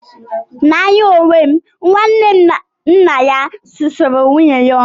N'anya onwe m, nwanne nna ya susuru nwunye ya ọnụ.